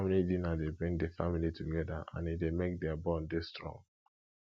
family dinner de bring di family together and e de make their bond de strong